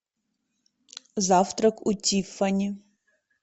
завтрак у тиффани